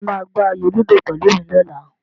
Ṣé o máa gbá ayò lúdò pẹ̀lú mi lọ́la?